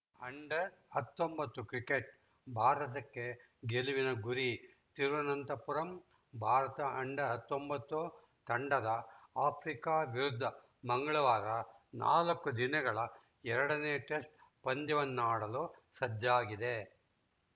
under ಹತ್ತೊಂಬತ್ತು cricket ಭಾರತಕ್ಕೆ ಗೆಲುವಿನ ಗುರಿ ತಿರುನಂತಪುರಂ ಭಾರತ ಆಂಡ ಹತ್ತೊಂಬತ್ತು ತಂಡದ ಆಫ್ರಿಕಾ ವಿರುದ್ಧ ಮಂಗಳವಾರ ನಾಲ್ಕು ದಿನಗಳ ಎರಡನೇ ಟೆಸ್ಟ್ ಪಂದ್ಯವನ್ನು ಆಡಲು ಸಜ್ಜಾಗಿದೆ